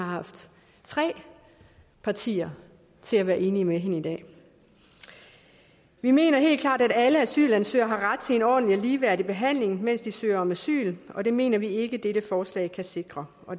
tre partier har været enige med hende i dag vi mener helt klart at alle asylansøgere har ret til en ordentlig og ligeværdig behandling mens de søger om asyl og det mener vi ikke dette forslag kan sikre